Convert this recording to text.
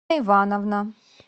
ивановна